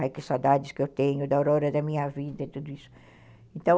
Ai, que saudades que eu tenho da aurora da minha vida e tudo isso, então